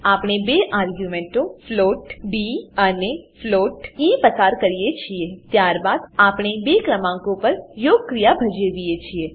આપણે બે આર્ગ્યુંમેંટો ફ્લોટ ડી અને ફ્લોટ ઇ પસાર કરીએ છીએ ત્યારબાદ આપણે બે ક્રમાંકો પર યોગક્રિયા ભજવીએ છીએ